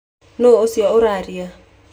Nũũ ũcio ũrarĩra?